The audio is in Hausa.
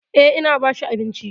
Eh, ina ba shi abinci.